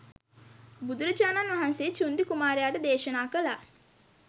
බුදුරජාණන් වහන්සේ චුන්දි කුමාරයාට දේශනා කළා.